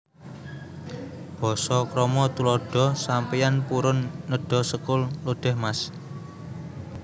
Basa KramaTuladha Sampeyan purun nedha sekul lodèh Mas